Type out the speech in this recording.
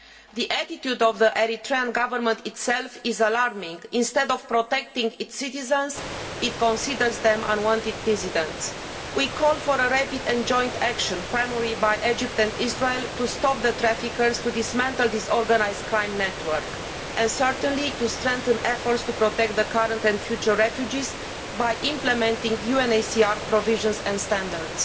The attitude of the Eritrean Government itself is alarming instead of protecting its citizens, it considers them unwanted dissidents. We call for rapid and joint action, primarily by Egypt and Israel, to stop the traffickers, to dismantle this organised crime network and, certainly, to strengthen efforts to protect current and future refugees by implementing UNHCR provisions and standards.